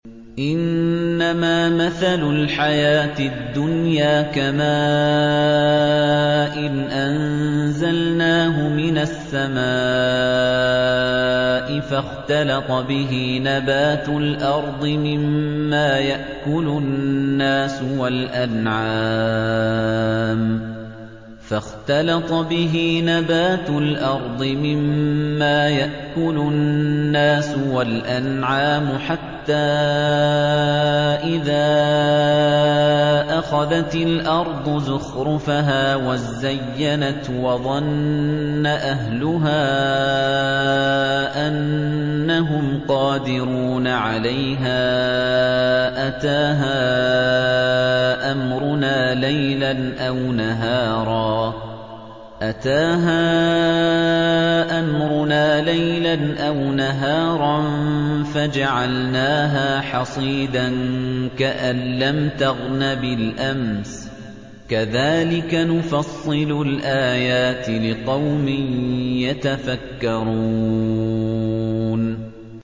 إِنَّمَا مَثَلُ الْحَيَاةِ الدُّنْيَا كَمَاءٍ أَنزَلْنَاهُ مِنَ السَّمَاءِ فَاخْتَلَطَ بِهِ نَبَاتُ الْأَرْضِ مِمَّا يَأْكُلُ النَّاسُ وَالْأَنْعَامُ حَتَّىٰ إِذَا أَخَذَتِ الْأَرْضُ زُخْرُفَهَا وَازَّيَّنَتْ وَظَنَّ أَهْلُهَا أَنَّهُمْ قَادِرُونَ عَلَيْهَا أَتَاهَا أَمْرُنَا لَيْلًا أَوْ نَهَارًا فَجَعَلْنَاهَا حَصِيدًا كَأَن لَّمْ تَغْنَ بِالْأَمْسِ ۚ كَذَٰلِكَ نُفَصِّلُ الْآيَاتِ لِقَوْمٍ يَتَفَكَّرُونَ